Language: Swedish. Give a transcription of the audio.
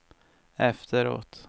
efteråt